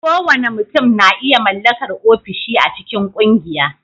Kowane mutum na iya mallakar ofishi a cikin ƙungiya